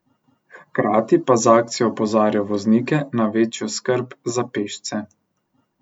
Hkrati pa z akcijo opozarjajo voznike na večjo skrb za pešce.